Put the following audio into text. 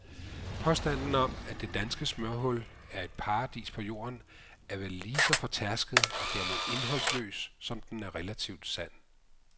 Påstanden om, at det danske smørhul er et paradis på jorden, er vel lige så fortærsket og dermed indholdsløs, som den er relativt sand.